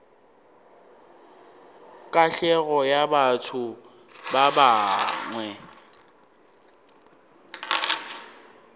katlego ya batho ba bangwe